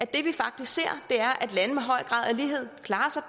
det vi faktisk ser er at lande med høj grad af lighed klarer sig